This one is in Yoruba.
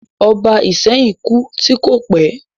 Ọba Ìsẹ́yìn kú tí kò pẹ̀